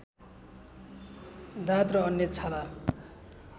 दाद र अन्य छाला